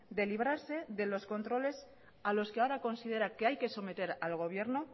de librarse de los controles a los que ahora considera que hay que someter al gobierno